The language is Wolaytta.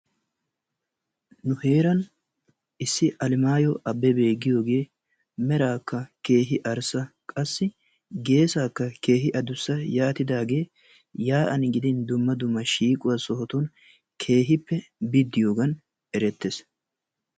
Nu heeran issi alemaayo abbebe giyoogee meraakka keehi arssa qassi geessaakka keeehi addussa yaatidaagee yaa'an gidin dumma dumma shiiqo sohotun keehippe biddiyogan erettees,,